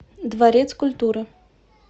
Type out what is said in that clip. дворец культуры